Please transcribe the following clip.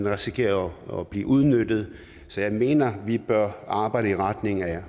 risikerer at blive udnyttet så jeg mener vi bør arbejde i retning af